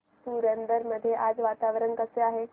पुरंदर मध्ये आज वातावरण कसे आहे